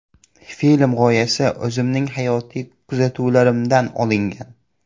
Film g‘oyasi o‘zimning hayotiy kuzatuvlarimdan olingan.